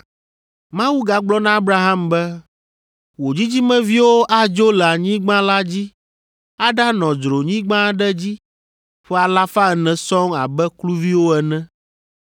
Mawu gagblɔ na Abraham be, ‘Wò dzidzimeviwo adzo le anyigba la dzi aɖanɔ dzronyigba aɖe dzi ƒe alafa ene sɔŋ abe kluviwo ene.